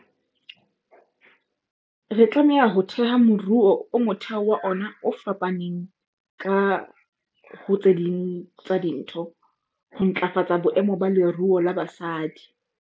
Re tlameha ho theha moruo o motheo wa ona o fapaneng ka, ho tse ding tsa dintho, ho ntlafatsa boemo ba leruo la basadi.